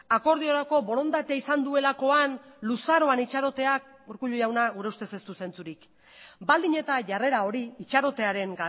akordiorako borondatea izan duelakoan luzaroan itxaroteak urkullu jauna gure ustez ez du zentzurik baldin eta jarrera hori itxarotearen